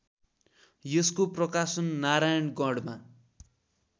यसको प्रकाशन नारायणगढमा